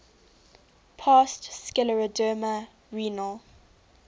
past scleroderma renal